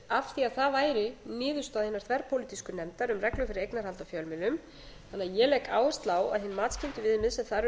því að það væri niðurstaða hinnar þverpólitísku nefndar um reglur fyrir eignarhald á fjölmiðlum þannig að ég legg áherslu á að hin matskenndu viðmið sem þar